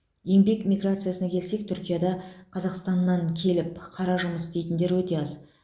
еңбек миграциясына келсек түркияда қазақстаннан келіп қара жұмыс істейтіндер өте аз